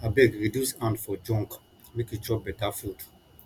abeg reduce hand for junk make you chop beta food